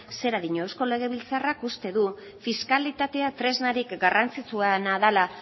zera dio eusko legebiltzarrak uste du fiskalitate tresnarik garrantzitsuena dela